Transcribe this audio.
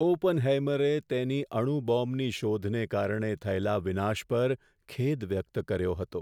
ઓપનહેઇમરે તેની અણુ બોમ્બની શોધને કારણે થયેલા વિનાશ પર ખેદ વ્યક્ત કર્યો હતો.